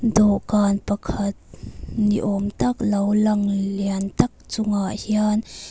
dawhkan pakhat ni awm tak lo lang lian tak chungah hian--